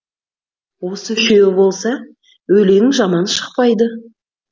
осы үшеуі болса өлең жаман шықпайды